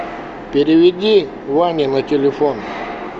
переведи ване на телефон